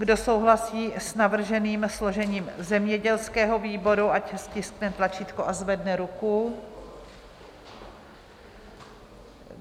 Kdo souhlasí s navrženým složením zemědělského výboru, ať stiskne tlačítko a zvedne ruku.